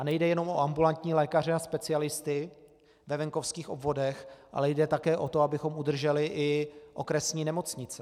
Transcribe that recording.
A nejde jenom o ambulantní lékaře a specialisty ve venkovských obvodech, ale jde také o to, abychom udrželi i okresní nemocnice.